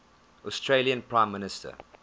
australian prime minister